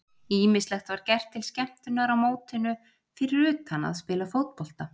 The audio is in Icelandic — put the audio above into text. Ýmislegt var gert til skemmtunar á mótinu fyrir utan að spila fótbolta.